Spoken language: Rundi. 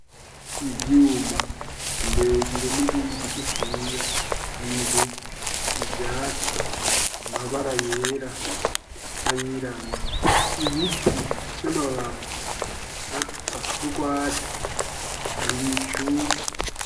ivyuma birebire n'ibindi bigufiya inzu ivyatsi amabara yera nayirabura ibiti vy'amababi n'urwatsi ibicu.